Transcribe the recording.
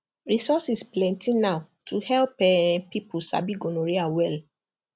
resources plenty now to help um people sabi gonorrhea well